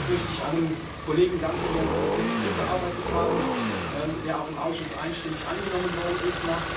Zunächst möchte ich allen Kollegen danken, die an diesem Text mitgearbeitet haben, der auch im Ausschuss einstimmig angenommen worden ist.